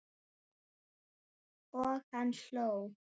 Og hann hló.